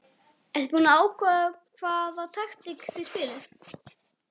Ertu búinn að ákveða hvaða taktík þið spilið?